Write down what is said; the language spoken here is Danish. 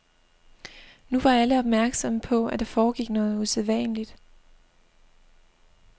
Nu var alle opmærksomme på, at der foregik noget usædvanligt.